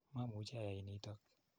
Mamuchi ayai nitok.